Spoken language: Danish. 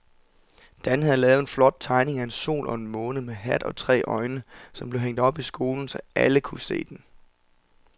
Dan havde lavet en flot tegning af en sol og en måne med hat og tre øjne, som blev hængt op i skolen, så alle kunne se den.